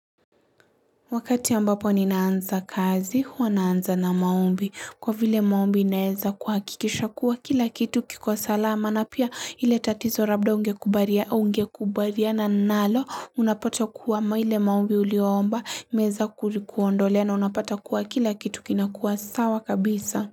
Wakati ambapo ninaanza kazi, huwa naanza na maombi. Kwa vile maombi inaeza kuhakikisha kuwa kila kitu kiko salama na pia ile tatizo labda ungekubaliana nalo unapata kuwa ambao ile maombi uliomba, imeweza kulikuondolea na unapata kuwa kila kitu kinakuwa sawa kabisa.